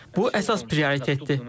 Bu əsas prioritdir.